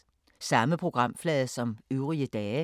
Samme programflade som øvrige dage